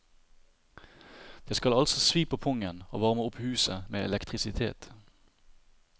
Det skal altså svi på pungen å varme opp huset med elektrisitet.